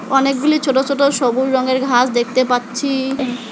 অনেকগুলি ছোট ছোট সবুজ রঙের ঘাস দেখতে পাচ্ছি।